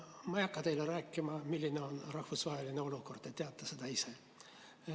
Ma ei hakka teile rääkima, milline on rahvusvaheline olukord, te teate seda isegi.